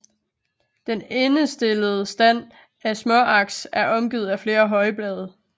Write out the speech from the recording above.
Den endestillede stand af småaks er omgivet af flere højblade